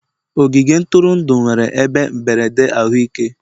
ogige ntụrụndụ nwere ebe mberede ahụike.